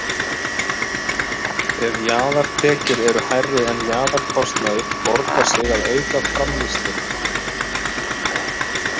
Ef jaðartekjur eru hærri en jaðarkostnaður borgar sig að auka framleiðsluna.